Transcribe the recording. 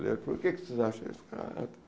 Ele falou, o que vocês acham desse cara?